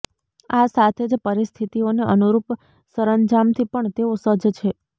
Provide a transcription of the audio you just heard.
આ સાથે જ પરિસ્થિતિઓને અનુરૂપ સંરજામથી પણ તેઓ સજ્જ છે